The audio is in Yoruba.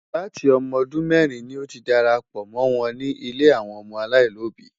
Láti ọmọ ọdún mẹ́rin ni ó ti darapọ̀ mọ́ wọn ní ilé àwọn ọmọ aláìlóbìí.